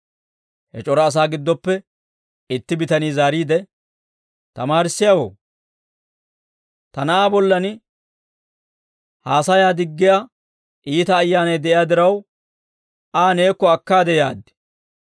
He c'ora asaa giddoppe itti bitanii zaariide, «Tamaarissiyaawoo, ta na'aa bollan haasayaa diggiyaa iita ayyaanay de'iyaa diraw, Aa neekko akkaade yaad.